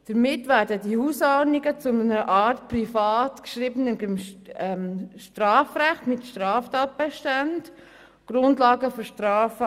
Damit werden die Hausordnungen zu einer Art privat geschriebenem Strafrecht mit Straftatbeständen – also zur Grundlage für Strafen.